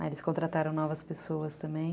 Aí eles contrataram novas pessoas também.